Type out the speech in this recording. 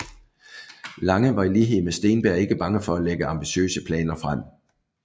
Lange var i lighed med Steenberg ikke bange for at lægge ambitiøse planer frem